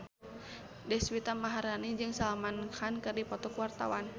Deswita Maharani jeung Salman Khan keur dipoto ku wartawan